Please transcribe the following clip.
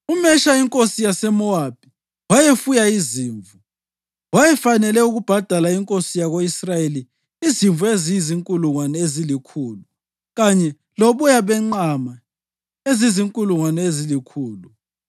UMesha inkosi yaseMowabi wayefuya izimvu, wayefanele ukubhadala inkosi yako-Israyeli izimvu ezizinkulungwane ezilikhulu kanye loboya benqama ezizinkulungwane ezilikhulu.